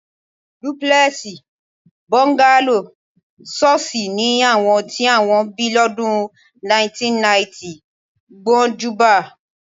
Dúpúlè̩è̩sì, bó̩ńgálò, s̩ó̩ó̩s̩ì ni àwo̩n tí wó̩n bí ló̩dùn 1990 gbó̩njúbá